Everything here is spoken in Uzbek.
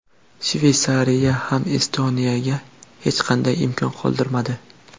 Shveysariya ham Estoniyaga hech qanday imkon qoldirmadi.